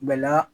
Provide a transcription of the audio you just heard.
Bɛla